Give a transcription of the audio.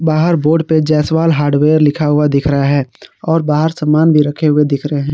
बाहर बोर्ड पे जैसवाल हार्डवेयर लिखा हुआ दिख रहा है और बाहर सामान भी रखे हुए दिख रहे हैं।